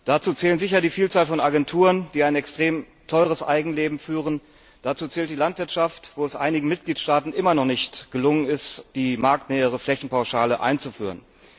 Dazu zählt sicher die Vielzahl von Agenturen, die ein extrem teueres Eigenleben führen, dazu zählt die Landwirtschaft, wo es einigen Mitgliedstaaten immer noch nicht gelungen ist, die marktnähere Flächenpauschale einzuführen.